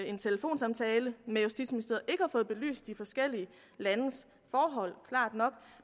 en telefonsamtale med justitsministeriet ikke fået belyst de forskellige landes forhold klart nok